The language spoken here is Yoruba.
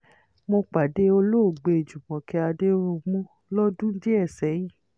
mo pàdé olóògbé júmọ́kẹ́ adẹ̀rùnmù lọ́dún díẹ̀ sẹ́yìn